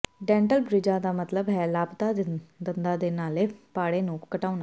dental ਬ੍ਰਿਜਾਂ ਦਾ ਮਤਲਬ ਹੈ ਲਾਪਤਾ ਦੰਦਾਂ ਦੇ ਨਾਲੇ ਪਾੜੇ ਨੂੰ ਘਟਾਉਣਾ